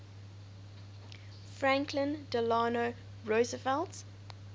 franklin delano roosevelt